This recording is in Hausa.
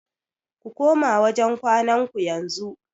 Ku koma wajen kwanan ku yanzu.